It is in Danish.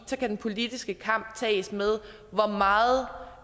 så kan den politiske kamp tages med hvor meget